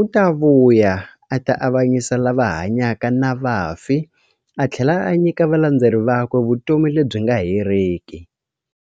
u ta vuya a ta avanyisa lava hanyaka na vafi athlela a nyika valandzeri vakwe vutomi lebyi nga heriki.